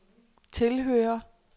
tilhører